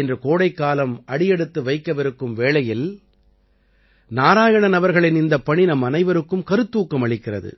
இன்று கோடைக்காலம் அடியெடுத்து வைக்கவிருக்கும் வேளையில் நாராயணன் அவர்களின் இந்தப் பணி நம்மனைவருக்கும் கருத்தூக்கம் அளிக்கிறது